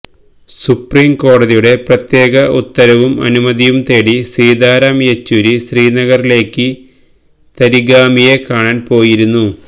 സുപ്രീംകോടതിയുടെ പ്രത്യേക ഉത്തരവും അനുമതിയും തേടി സീതാറാം യെച്ചൂരി ശ്രീനഗറിലേക്ക് തരിഗാമിയെ കാണാന് പോയിരുന്നു